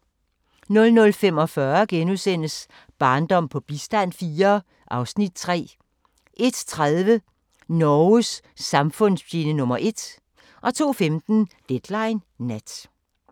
00:45: Barndom på bistand IV (Afs. 3)* 01:30: Norges samfundsfjende nr. 1 02:15: Deadline Nat